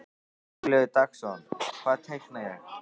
Hugleikur Dagsson: Hvað teikna ég?